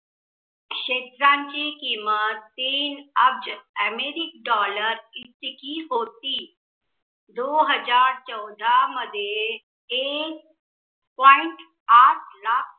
क्षेत्रांची किमत तीन अब्ज अमेरिक dollar इतकी होती. दो हजार चौदा मध्ये एक point आठ लाख